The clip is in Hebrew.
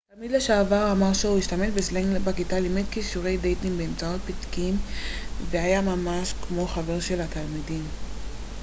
תלמיד לשעבר אמר שהוא השתמש בסלנג בכיתה לימד כישורי דייטינג באמצעות פתקים והיה ממש כמו חבר של התלמידים